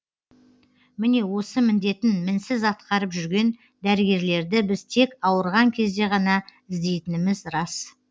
міне осы міндетін мінсіз атқарып жүрген дәрігерлерді біз тек ауырған кезде ғана іздейтініміз рас